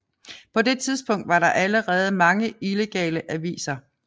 På det tidspunkt var der allerede mange illegale aviser